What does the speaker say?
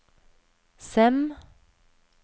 Sem